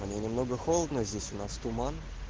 немного холодно здесь у нас туман